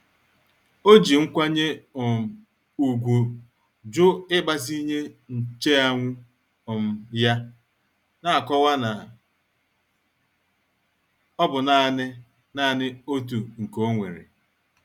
O ji nkwanye um ùgwù jụ ịgbazinye nche anwụ um ya, na-akọwa na ọ bụ naanị naanị otu nke onwere.